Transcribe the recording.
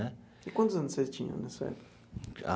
E quantos anos vocês tinham nessa época?